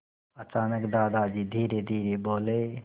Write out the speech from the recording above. अचानक दादाजी धीरेधीरे बोले